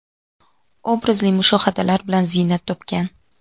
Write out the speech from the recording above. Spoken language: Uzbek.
obrazli mushohadalar bilan ziynat topgan.